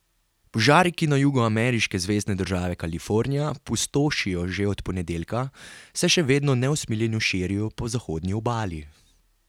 Požari, ki na jugu ameriške zvezne države Kalifornija pustošijo že od ponedeljka, se še vedno neusmiljeno širijo po zahodni obali.